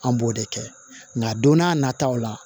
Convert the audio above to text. An b'o de kɛ nka don n'a nataw la